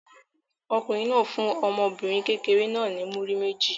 Ọkùnrin náà fún ọmọbìnrin kékeré náà ní múrí méjì.